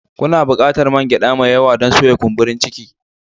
Kuna buƙatar man gyada mai yawa don soya kumburi ciki